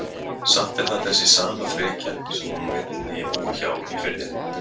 Samt er það þessi sama frekja sem hún vill að ég búi hjá í Firðinum.